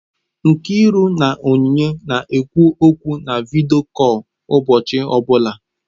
Nkiruka na Onyinye na-ekwu okwu na vidiyo kọl ụbọchị ọbụla.